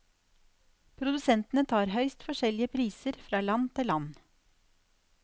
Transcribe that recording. Produsentene tar høyst forskjellige priser fra land til land.